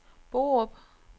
Borup